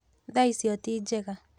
Thaacio tĩ njega.